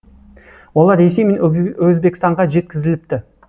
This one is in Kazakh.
олар ресей мен өзбекстанға жеткізіліпті